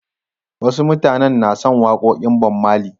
Wasu mutanen na son waƙoƙin Bob Marley.